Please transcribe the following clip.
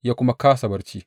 Ya kuma kāsa barci.